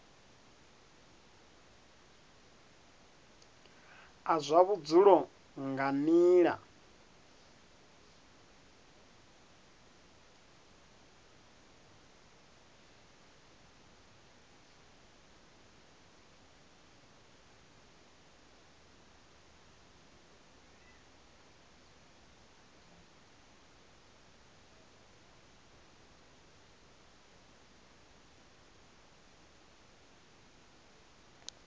a zwa vhudzulo nga nila